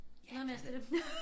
Noget mere stille